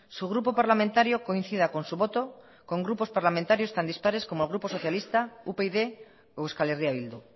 su grupo parlamentario coincida con su voto con grupos parlamentarios tan dispares como el grupo socialista upyd o euskal herria bildu